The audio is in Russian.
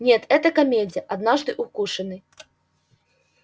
нет это комедия однажды укушенный